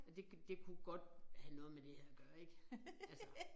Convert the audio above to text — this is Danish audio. Og det kunne det kunne godt have noget med det her at gøre ik altså